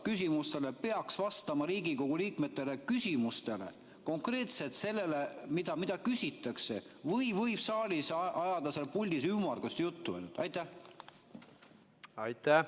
Kas see, kes vastab Riigikogu liikmete küsimustele, peaks vastama konkreetselt sellele, mida küsitakse, või võib saalile ajada sealt puldist ümmargust juttu?